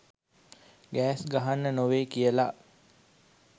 Gas ගහන්න නෙවෙයි කියලා?